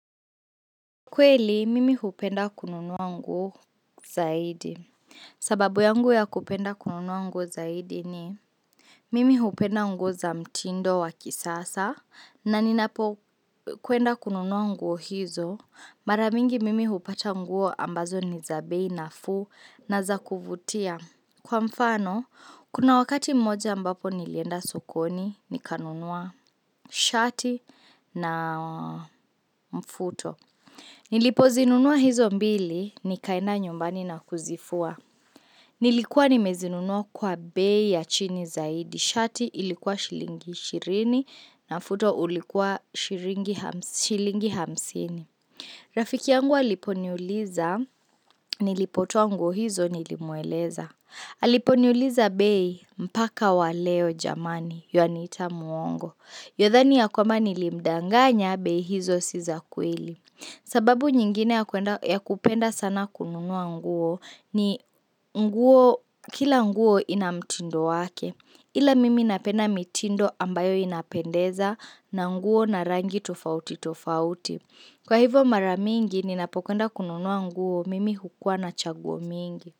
Kweli, mimi hupenda kununua nguo zaidi. Sababu yangu ya kupenda kununua nguo zaidi ni, mimi hupenda nguo za mtindo wa kisasa, na ninapo kwenda kununua nguo hizo, maramingi mimi hupata nguo ambazo ni za bei na fuu na za kuvutia. Kwa mfano, kuna wakati mmoja ambapo nilienda sokoni, nikanunua shati na mfuto. Nilipo zinunua hizo mbili ni kaenda nyumbani na kuzifua. Nilikuwa nimezinunua kwa bei ya chini zaidi. Shati ilikuwa shilingi ishirini na mfuto ulikuwa shilingi hamsini. Rafiki yangu alipo niuliza nilipotoa hizo nilimueleza. Alipo niuliza bei mpaka waleo jamani ywaniita muongo. Ywadhani ya kwamba nilimdanga nya bei hizo si za kweli. Sababu nyingine ya kupenda sana kununua nguo ni nguo kila nguo ina mtindo wake. Ila mimi napenda mitindo ambayo inapendeza na nguo na rangi tofauti tofauti. Kwa hivo maramingi ni napokwenda kununua nguo mimi hukuwa na chaguo mingi.